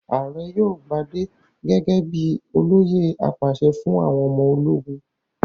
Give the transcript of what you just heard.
Ààrẹ yóò gbadé gẹ́gẹ́ bí i olóyè apàṣẹ fún àwọn ọmọ ológun.